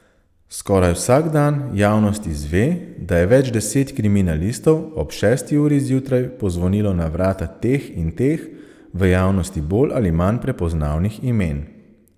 Skoraj vsak dan javnost izve, da je več deset kriminalistov ob šesti uri zjutraj pozvonilo na vrata teh in teh, v javnosti bolj ali manj prepoznavnih imen.